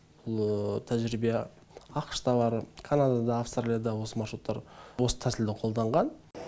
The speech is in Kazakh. бұл тәжірибе ақш та бар канадада аустралияда осы маршруттар осы тәсілді қолданған